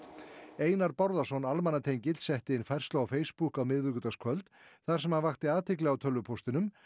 Einar Bárðarson almannatengill setti inn færslu á Facebook á miðvikudagskvöld þar sem hann vakti athygli á tölvupóstinum